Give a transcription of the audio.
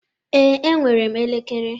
Ee, enwere m elekere.